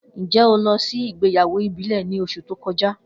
Njẹ o lọ si igbeyawo ibile ni oṣu to kọja?